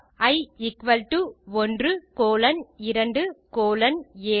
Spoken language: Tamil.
E equal to 1 colon 2 colon 7